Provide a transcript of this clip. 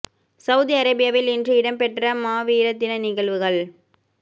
Saudi அரேபியாவில் இன்று இடம் பெற்ற மா வீர தின நிகழ்வுகள்